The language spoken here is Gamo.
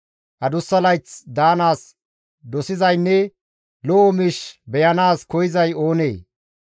Adussa layth daanaas dosizaynne lo7o miish beyanaas koyzay oonee?